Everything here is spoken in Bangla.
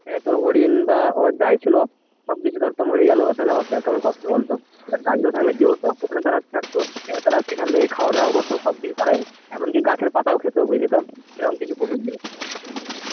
আহ তোর হরিণ বা যাই ছিল সবকিছু ধর তো মরে গেল তাহলে কেমন কষ্ট বলতো? এবার গাছগুলো থাকলে কি হত ওখানে তারা থাকতো এবার তারা সেখান থেকে খাওয়া দাওয়া করত সবকিচ্ছু তারা এমনকি গাছের পাতাও খেত বুঝলি তো সেরকম কিছু পশুও ছিল